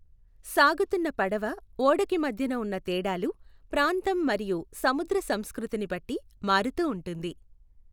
సాగుతున్న పడవ, ఓడకి మధ్యన వున్న తేడాలు, ప్రాంతం మరియు సముద్ర సంస్కృతిని బట్టి మారుతూ ఉంటుంది.